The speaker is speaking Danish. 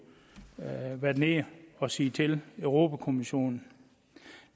have været nede og sige til europa kommissionen